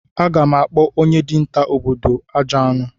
Aga m akpọ onye dinta obodo m "Ajọ anụ"